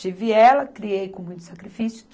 Tive ela, criei com muito sacrifício.